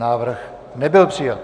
Návrh nebyl přijat.